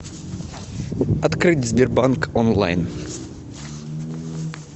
открыть сбербанк онлайн